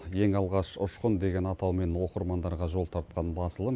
ең алғаш ұшқын деген атаумен оқырмандарға жол тартқан басылым